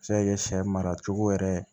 A bɛ se ka kɛ sɛ mara cogo yɛrɛ ye